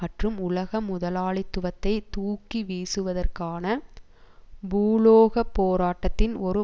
மற்றும் உலக முதலாளித்துவத்தை தூக்கி வீசுவதற்கான பூகோள போராட்டத்தின் ஒரு